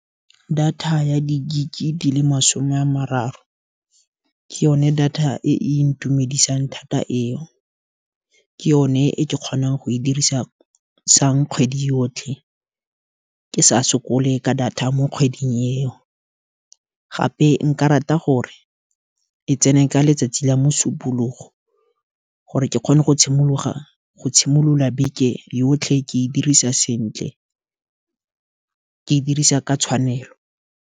Data ya di-gig di le masome a mararo, ke yone data e e ntumedisang thata eo, ke yone e kgonang go e dirisang kgwedi yotlhe. Ke sa sokole ka data mo kgweding eo, gape nka rata gore e tsene ka letsatsi la mosupologo, gore ke kgone go tshimolola beke yotlhe ke e dirisa sentle, ke e dirisa ka tshwanelo.